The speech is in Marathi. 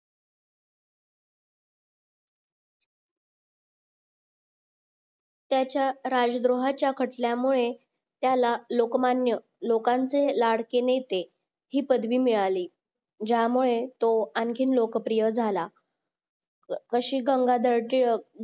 त्याचा राजद्रोहाच्या खटल्यामुळे त्याला लोकमान्य लोकांचे लाडके नेते ही पदवी मिळाली ज्यामुळे तो आणखीन लोकप्रिय झाला व श्री गंगाधर टिळक